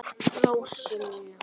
Rósu mína.